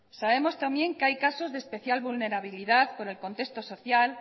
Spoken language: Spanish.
sabemos también que hay casos de especial vulnerabilidad por el contexto social